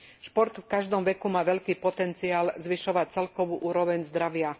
Šport v každom veku má veľký potenciál zvyšovať celkovú úroveň zdravia.